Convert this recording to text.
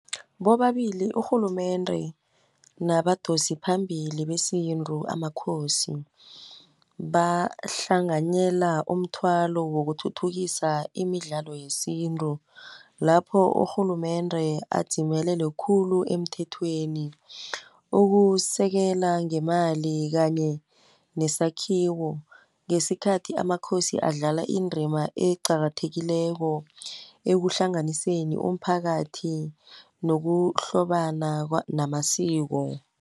Bobabili urhulumende nabadosi phambili besintu amakhosi, bahlanganyela umthwalo wokuthuthukisa imidlalo yesintu. Lapho urhulumende adzimelele khulu emthethweni, ukusekela ngemali kanye nesakhiwo. Ngesikhathi amakhosi adlala indrima eqakathekileko, ekuhlanganiseni umphakathi, nokuhlobana namasiko.